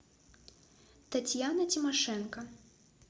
татьяна тимошенко